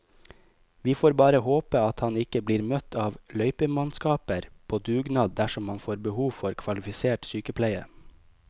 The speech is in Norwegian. Vi får bare håpe at han ikke blir møtt av løypemannskaper på dugnad dersom han får behov for kvalifisert sykepleie.